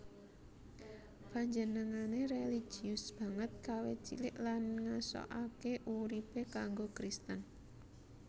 Panjenengané réligius banget kawit cilik lan ngasokaké uripé kanggo Kristen